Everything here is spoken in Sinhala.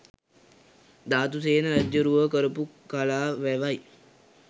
ධාතුසේන රජ්ජුරුවෝ කරපු කලා වැවයි